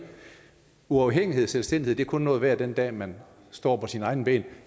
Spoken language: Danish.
uafhængighed og selvstændighed er kun noget værd den dag man står på sine egne ben